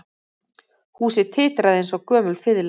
Húsið titraði eins og gömul fiðla